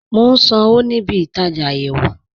Mo n sànwo ní ìbí-ìtajá ayéwo